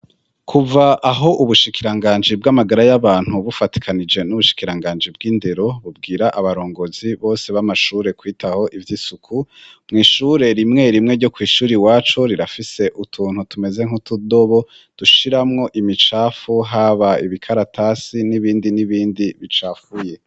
Kuva aho ubushikiranganji bw'amagara y'abantu bufatikanije n'ubushikiranganji bw'indero bubwira abarongozi bose b'amashure kwitaho ivy'isuku mu ishure rimwe rimwe ryo kw'ishuri wacu rirafise utuntu tumeze nk'utudobo dushiramwo imicafu haba ibikaratasi n'ibindi n'ibindi bicafuye.